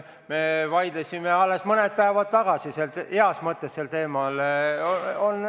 Me vaidlesime alles mõned päevad tagasi sel teemal, heas mõttes vaidlesime.